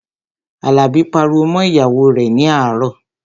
Àlàbí pariwo mọ́ ìyàwó rẹ̀ ní àárọ̀